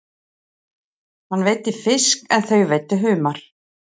Hann veiddi fisk en þau veiddu humar.